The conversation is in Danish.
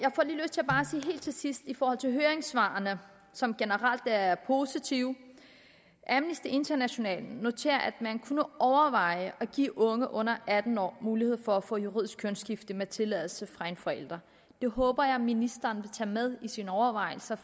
sige helt til sidst i forhold til høringssvarene som generelt er positive at amnesty international noterer at man kunne overveje at give unge under atten år mulighed for at få juridisk kønsskifte med tilladelse fra en forælder det håber jeg ministeren vil tage med i sine overvejelser